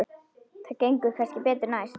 Það gengur kannski betur næst.